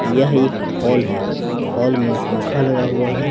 यह एक हॉल है हॉल में पंखा लगा हुआ है।